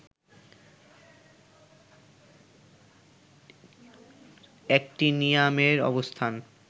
অ্যাক্টিনিয়ামের অবস্থান